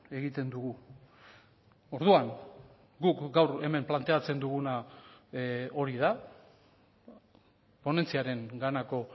egiten dugu orduan guk gaur hemen planteatzen duguna hori da ponentziarenganako